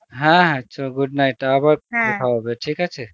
হ্যাঁ হ্যাঁ চ good night আবার হবে ঠিক আছে